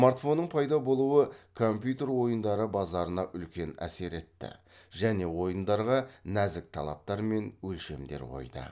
смартфонның пайда болуы компьютер ойындары базарына үлкен әсер етті және ойындарға нәзік талаптар мен өлшемдер қойды